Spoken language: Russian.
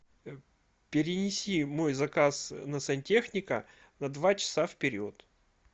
перенеси мой заказ на сантехника на два часа вперед